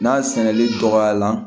N'a sɛnɛli dɔgɔya la